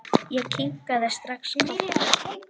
Ég kinkaði strax kolli.